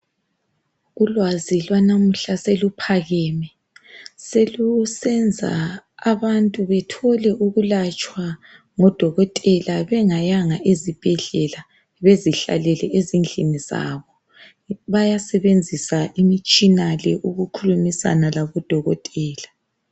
Ulwazi lwanamuhla seluphakeme selusenza abantu bethole ukulatshwa ngodokotela bengayanga ezibhedlela bezihlalele ezindlini zabo bayasebenzisa imitshina le ukukhulumisana labodokotela.